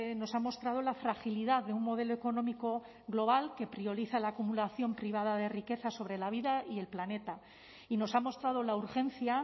nos ha mostrado la fragilidad de un modelo económico global que prioriza la acumulación privada de riqueza sobre la vida y el planeta y nos ha mostrado la urgencia